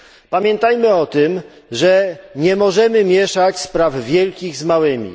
Pamiętajmy o tym, że nie możemy mieszać spraw wielkich z małymi.